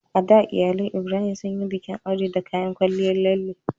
A da, iyalan Ibrahim sun yi bikin aure da kayan kwalliyar lalle